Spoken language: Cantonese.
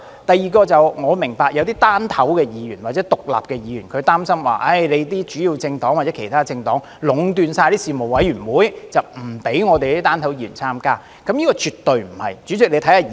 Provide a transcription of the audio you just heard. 第二，我明白有些"單頭"或獨立的議員擔心主要的政黨或其他政黨會壟斷事務委員會，不讓"單頭"的議員參加，但絕對不是這樣的。